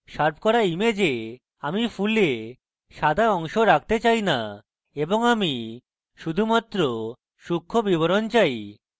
sharp করা image আমি ফুলে সাদা অংশ রাখতে চাই না এবং আমি শুধুমাত্র সূক্ষ্ম বিবরণ চাই